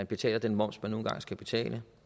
betale den moms man nu engang skal betale